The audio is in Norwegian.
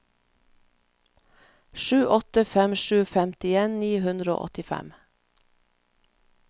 sju åtte fem sju femtien ni hundre og åttifem